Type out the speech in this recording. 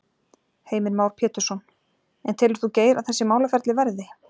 Heimir Már Pétursson: En telur þú Geir að þessi málaferli verði?